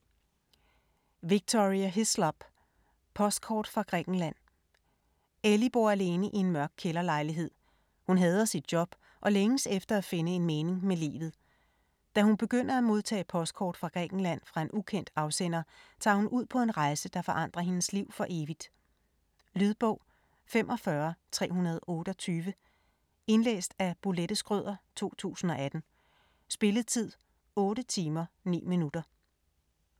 Hislop, Victoria: Postkort fra Grækenland Ellie bor alene i en mørk kælderlejlighed, hun hader sit job og længes efter at finde en mening med livet. Da hun begynder at modtage postkort fra Grækenland fra en ukendt afsender, tager hun ud på en rejse, der forandrer hendes liv for evigt. Lydbog 45328 Indlæst af Bolette Schrøder, 2018. Spilletid: 8 timer, 9 minutter.